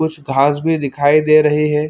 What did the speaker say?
कुछ घास भी दिखाई दे रही है।